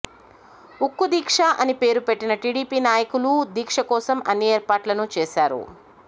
ఉక్కు దీక్ష అని పేరు పెట్టిన టీడీపీ నాయకులూ దీక్ష కోసం అన్ని ఏర్పాట్లను చేశారు